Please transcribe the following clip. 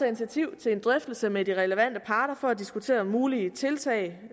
initiativ til en drøftelse med de relevante parter for at diskutere mulige tiltag